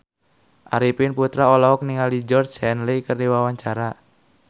Arifin Putra olohok ningali Georgie Henley keur diwawancara